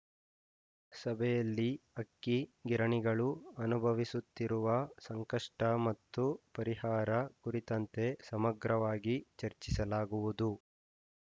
ಸಭೆಯಲ್ಲಿ ಅಕ್ಕಿ ಗಿರಣಿಗಳು ಅನುಭವಿಸುತ್ತಿರುವ ಸಂಕಷ್ಟಮತ್ತು ಪರಿಹಾರ ಕುರಿತಂತೆ ಸಮಗ್ರವಾಗಿ ಚರ್ಚಿಸಲಾಗುವುದು